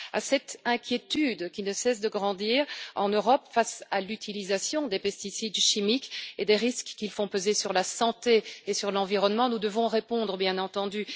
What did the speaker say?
À cette inquiétude, qui ne cesse de grandir en Europe, face à l'utilisation des pesticides chimiques et des risques qu'ils font peser sur la santé et sur l'environnement, nous devons répondre, bien entendu.